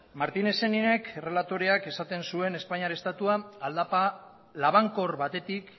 martin scheininek errelatoreak esaten zuen espainiar estatua aldapa labankor batetik